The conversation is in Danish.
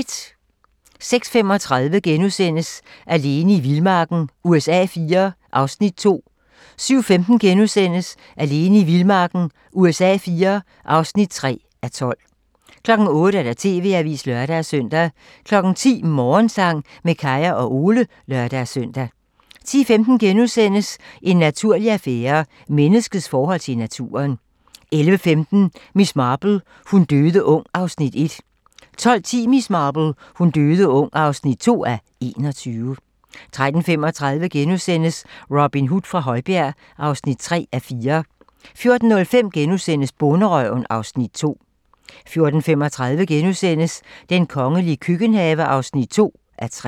06:35: Alene i vildmarken USA IV (2:12)* 07:15: Alene i vildmarken USA IV (3:12)* 08:00: TV-avisen (lør-søn) 10:00: Morgensang med Kaya og Ole (lør-søn) 10:15: En naturlig affære - Menneskets forhold til naturen * 11:15: Miss Marple : Hun døde ung (1:21) 12:10: Miss Marple: Hun døde ung (2:21) 13:35: Robin Hood fra Højbjerg (3:4)* 14:05: Bonderøven (Afs. 2)* 14:35: Den kongelige køkkenhave (2:3)*